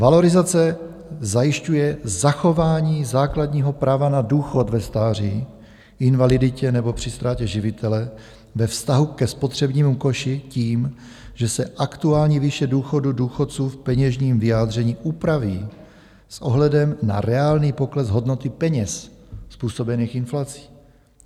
Valorizace zajišťuje zachování základního práva na důchod ve stáří, invaliditě nebo při ztrátě živitele ve vztahu ke spotřebnímu koši tím, že se aktuální výše důchodu důchodců v peněžním vyjádření upraví s ohledem na reálný pokles hodnoty peněz způsobený inflací.